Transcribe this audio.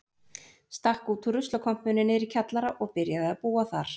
Stakk út úr ruslakompunni niðri í kjallara og byrjaði að búa þar.